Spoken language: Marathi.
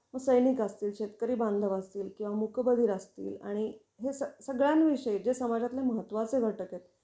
त्यामुळे काय असायच ना, मग सैनिक असतील, शेतकरी बांधव असतील किंवा मुकबधीर असतील, आणि हे सगळ्या विषयीचे समाजातले महत्त्वाचे घटक आहेत,